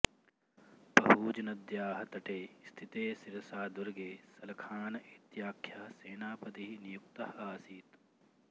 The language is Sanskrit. पहूजनद्याः तटे स्थिते सिरसादुर्गे सलखान इत्याख्यः सेनापतिः नियुक्तः आसीत्